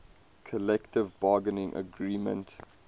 collective bargaining agreement